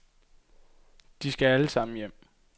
De skal alle sammen hjem.